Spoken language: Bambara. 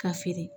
Ka feere